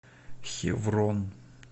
хеврон